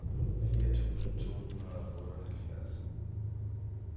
fire tusind to hundrede og otteoghalvfjerds